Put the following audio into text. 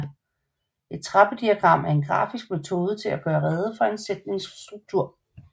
Et trappediagram er en grafisk metode til at gøre rede for en sætnings struktur